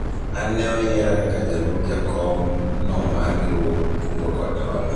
an ne oyiera kaka jalup jakom no mar riwruog kungo kod hola